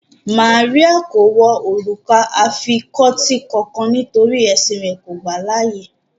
Màríà kò wọ orúkà afikọtí kánkán nítorí ẹ̀ṣìn rẹ̀ kò gbà laàyè